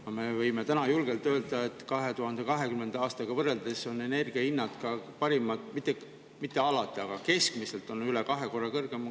Aga me võime täna julgelt öelda, et 2020. aastaga võrreldes on energia hinnad, mitte alati, aga keskmiselt üle kahe korra kõrgemad.